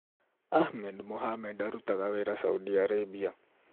Ahmed Mohamed aarutaga wĩra Saudi Arabia.